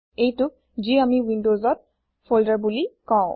এইটোক যি আমি ৱিনদউজত ফল্দাৰ বুলি কওঁ